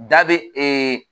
Da be